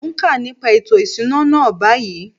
Mo n ka nípa ètò ìṣúná náà báyìí.